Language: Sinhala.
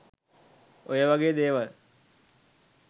ඔය වගේ දේවල්